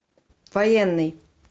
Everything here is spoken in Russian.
военный